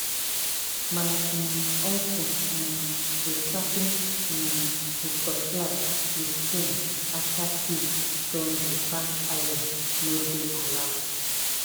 my um uncle um dey sharpen um e cutlass with stone after seed don dey pack iron no dey allowed.